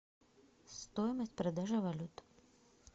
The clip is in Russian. стоимость продажи валют